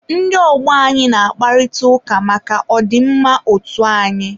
ndị ọgbọ anyị na-akparịta ụka maka ọ dị mma otu anyị.